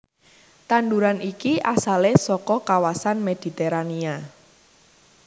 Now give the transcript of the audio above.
Tanduran iki asalé saka kawasan Mediterania